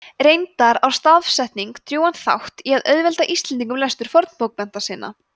reyndar á stafsetning drjúgan þátt í að auðvelda íslendingum lestur fornbókmennta sinna